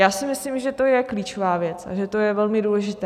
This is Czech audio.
Já si myslím, že to je klíčová věc a že to je velmi důležité.